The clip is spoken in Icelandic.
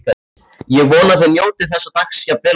Ég vona þið njótið þessa dags jafn vel og ég.